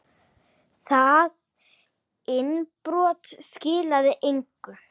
Það innbrot skilaði engu.